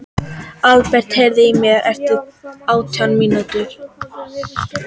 Aðalbert, heyrðu í mér eftir átján mínútur.